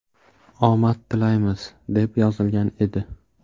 Omad tilaymiz”, deb yozilgan edi.